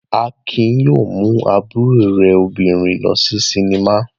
Akin yóò mú àbúrò rẹ̀ obìnrin lọ sí sinimá.